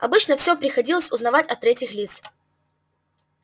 обычно всё приходилось узнавать от третьих лиц